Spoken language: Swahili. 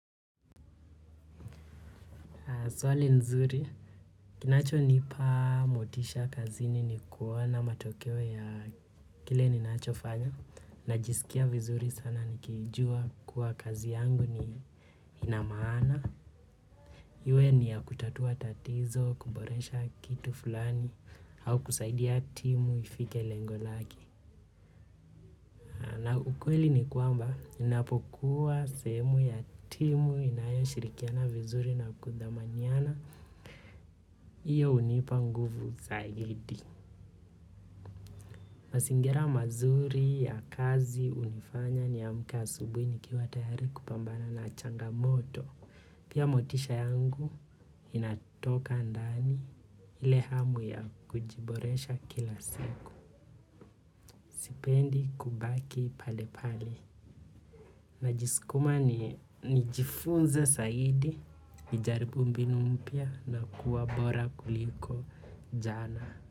Swali nzuri, kinacho nipa motisha kazini ni kuona matokeo ya kile ninacho fanya. Najisikia vizuri sana nikijua kuwa kazi yangu ni inamaana. Iwe ni ya kutatua tatizo, kuboresha kitu fulani, au kusaidia timu ifike lengo lake. Na ukweli ni kwamba, napokuwa sehemu ya timu inayo shirikiana vizuri na kudhamaniana. Iyo hunipa nguvu zaidi. Mazingira mazuri ya kazi hunifanya niamke asubuhi ni kiwa tayari kupambana na changa moto. Pia motisha yangu inatoka ndani ile hamu ya kujiboresha kila siku. Sipendi kubaki pale pale. Najiskuma ni jifunze zaidi, nijaribu mbinu mpya na kuwa bora kuliko jana.